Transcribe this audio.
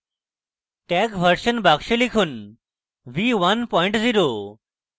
tag version box লিখুন v10